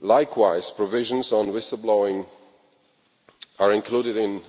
Likewise, provisions on whistle blowing are included in